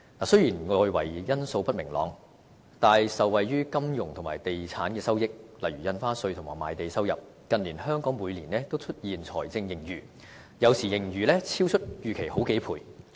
雖然外圍因素不明朗，但受惠於金融和地產的收益，例如印花稅及賣地收入，近年香港每年均出現財政盈餘，有時盈餘超出預期好幾倍。